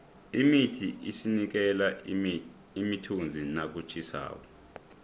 imithi isinikela imithunzi nakutjhisako